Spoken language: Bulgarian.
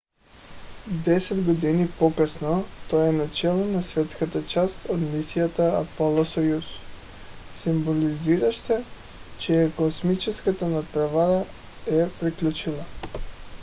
десет години по-късно той е начело на съветската част от мисията аполо–съюз символизираща че е космическата надпревара е приключила